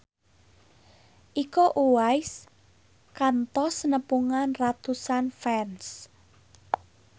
Iko Uwais kantos nepungan ratusan fans